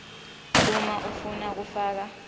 uma ufuna kufaka